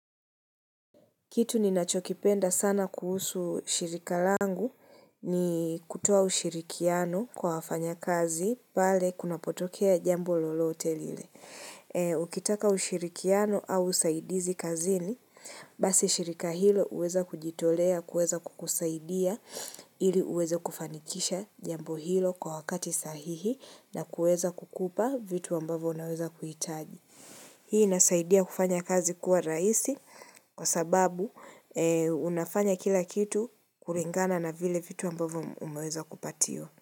Kitu ni nachokipenda sana kuhusu shirika langu ni kutowa ushirikiano kwa wafanya kazi pale kuna potokea jambo lolote lile. Ukitaka ushirikiano au usaidizi kazini, basi shirika hilo uweza kujitolea, kuweza kukusaidia ili uweze kufanikisha jambo hilo kwa wakati sahihi na kuweza kukupa vitu ambavo naweza kuhitaji. Hii inasaidia kufanya kazi kuwa rahisi kwa sababu unafanya kila kitu kuringana na vile vitu ambavu umeweza kupatiwa.